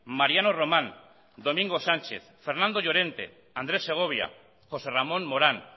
mariano román domingo sánchez fernando llorente andrés segovia josé ramón morán